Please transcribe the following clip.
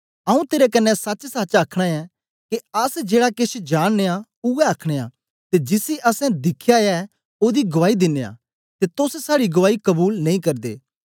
आऊँ तेरे कन्ने सचसच आखना ऐ के अस जेड़ा केश जाननयां ऊऐ आखनयां ते जिसी असैं दिखया ऐ ओदी गुआई दिनयां ते तोस साड़ी गुआई कबूल नेई करदे